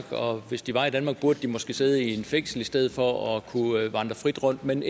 og hvis de var i danmark burde de måske sidde i et fængsel i stedet for at kunne vandre frit rundt men